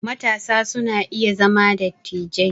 Matasa su na iya zama dattijai